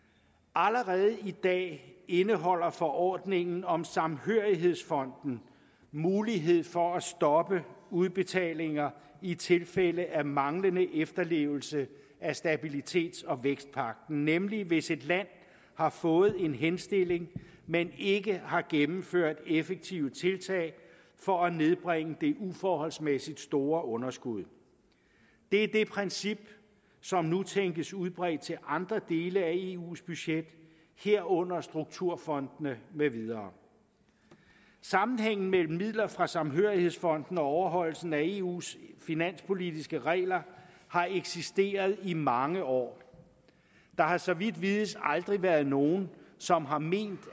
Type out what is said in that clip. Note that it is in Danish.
allerede i dag indeholder forordningen om samhørighedsfonden mulighed for at stoppe udbetalinger i tilfælde af manglende efterlevelse af stabilitets og vækstpagten nemlig hvis et land har fået en henstilling men ikke har gennemført effektive tiltag for at nedbringe det uforholdsmæssigt store underskud det er det princip som nu tænkes udbredt til andre dele af eus budget herunder strukturfondene med videre sammenhængen mellem midler fra samhørighedsfonden og overholdelsen af eus finanspolitiske regler har eksisteret i mange år der har så vidt vides aldrig været nogen som har ment